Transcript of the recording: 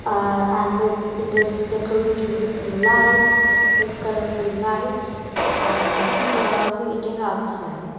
uh and it is decorated with lights with colourful lights and people are waiting outside.